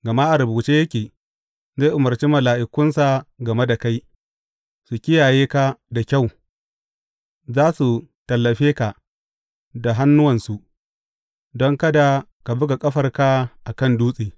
Gama a rubuce yake, Zai umarci mala’ikunsa game da kai, su kiyaye ka da kyau; za su tallafe ka da hannuwansu, don kada ka buga ƙafarka a kan dutse.’